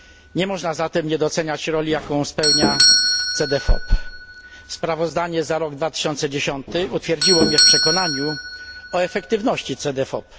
Nie można zatem nie doceniać roli, jaką spełnia Cedefop. Sprawozdanie za rok 2010 utwierdziło mnie w przekonaniu o efektywności Cedefop.